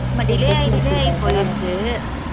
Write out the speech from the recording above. ஆமா delay ஆயி delay ஆயி போயிருச்சு